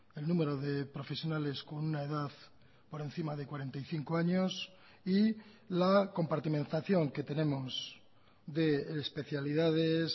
el número de profesionales con una edad por encima de cuarenta y cinco años y la compartimentación que tenemos de especialidades